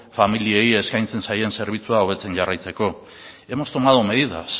familiei eskaintzen zaien zerbitzua hobetzen jarraitzeko hemos tomado medidas